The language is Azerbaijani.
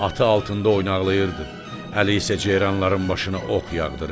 Atı altında oynaqlaşırdı, əli isə ceyranların başına ox yağdırırdı.